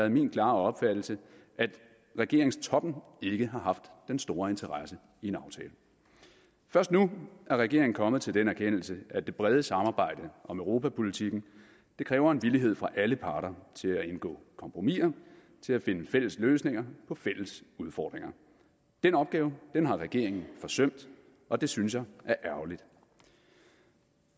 den klare opfattelse at regeringstoppen ikke har haft den store interesse i en aftale først nu er regeringen kommet til den erkendelse at det brede samarbejde om europapolitikken kræver en villighed fra alle parter til at indgå kompromiser til at finde fælles løsninger på fælles udfordringer den opgave har regeringen forsømt og det synes jeg er ærgerligt